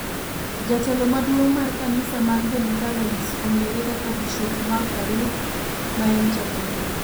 Jatelo maduong' mar kanise mag Deliverance ong'ere kaka Bisop Mark Kariuki ma en Ja-Kenya.